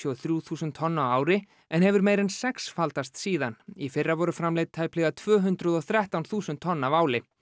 og þrjú þúsund tonn á ári en hefur meira en sexfaldast síðan í fyrra voru framleidd tæplega tvö hundruð og þrettán þúsund tonn af áli